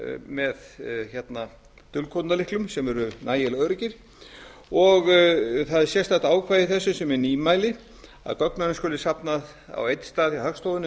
með dulkóðunarlyklum sem eru nægilega öruggir það er sérstakt ákvæði í þessu sem er nýmæli að gögnunum skuli safnað á einn stað hjá hagstofunni